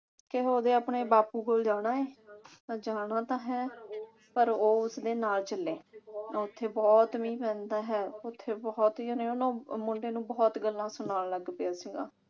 ਕਿ ਉਹਦੇ ਆਪਣੇ ਬਾਪੂ ਕੋਲ ਜਾਣਾ ਹੈ। ਪਰ ਜਾਣਾ ਤਾਂ ਹੈ ਪਰ ਉਹ ਉਸਦੇ ਨਾਲ ਚੱਲੇ। ਉਥੇ ਬਹੁਤ ਮੀਂਹ ਪੈਂਦਾ ਹੈ। ਉਥੇ ਬਹੁਤ ਹੀ ਯਾਨੀ ਉਹ ਨੂੰ ਮੁੰਡੇ ਨੂੰ ਬਹੁਤ ਗੱਲਾਂ ਸੁਣਾਉਣ ਲੱਗ ਪਿਆ ਸੀਗਾ।